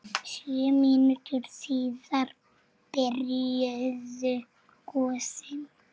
Sjö mínútum síðar byrjuðu gosin.